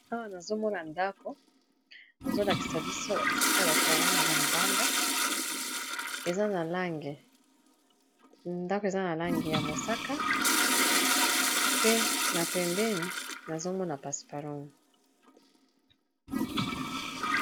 Awa nazomona ndako bazolakisa biso Esika batu bavandaka na libanda eza na langi ya mosaka pe na pembeni nazomona ba matiti.